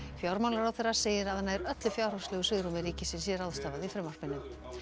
fjármálaráðherra segir að nær öllu fjárhagslegu svigrúmi ríkisins sé ráðstafað í frumvarpinu